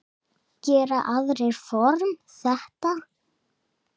Gera aðrir form. þetta?